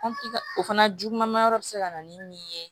o fana juguman ma yɔrɔ bɛ se ka na ni min ye